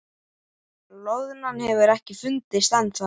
Loðnan hefur ekki fundist ennþá